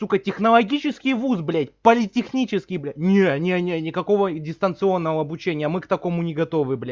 сука технологический вуз блядь политехнический блядь не не не никакого дистанционного обучения мы к такому не готовы бля